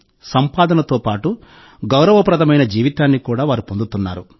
సంపాదనతో పాటు గౌరవప్రదమైన జీవితాన్ని కూడా వారు పొందుతున్నారు